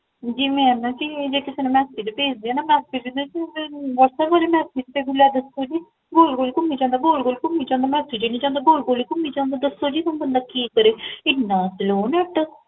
ਜੀ ਮੈਂ ਨਾ ਜੀ ਜੇ ਕਿਸੇ ਨੂ Message ਭੇਜਦੀ ਹਾਂ ਨਾ, What'up ਵਾਲੇ Message ਵਿੱਚ ਗੋਲ ਗੋਲ ਘੂਮੀ ਜਾਂਦਾ ਗੋਲ ਗੋਲ ਘੂਮੀ ਜਾਂਦਾ Message ਹੀ ਨੀ ਜਾਂਦਾ ਗੋਲ ਗੋਲ ਹੀ ਘੂਮੀ ਜਾਂਦਾ ਦੱਸੋ ਜੀ ਹੁਣ ਬੰਦਾ ਕੀ ਕਰੇ